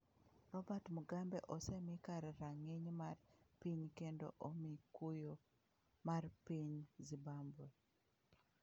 Robert Mugabe osemi kar rang'iny mar piny kendo omi kuyo mar piny Zimbabwe